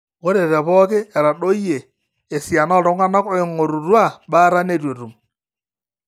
ore tepooki etadoyioe esiana ooltung'anak ooing'orutwa baata neitu etum